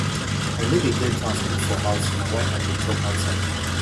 i no dey get chance cook for house na why i dey chop outside